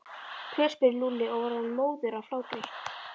Hver? spurði Lúlli og var orðinn móður af hlátri.